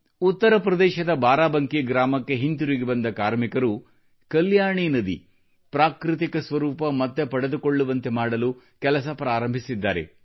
ಉತ್ತರಪ್ರದೇಶದ ಬಾರಾಬಂಕಿ ಗ್ರಾಮದಲ್ಲಿ ಹಿಂತಿರುಗಿ ಬಂದ ಕಾರ್ಮಿಕರು ಕಲ್ಯಾಣಿ ನದಿಯು ಪ್ರಾಕೃತಿಕ ಸ್ವರೂಪ ಮತ್ತೆ ಪಡೆದುಕೊಳ್ಳುವಂತೆ ಮಾಡಲು ಕೆಲಸ ಪ್ರಾರಂಭಿಸಿದ್ದಾರೆ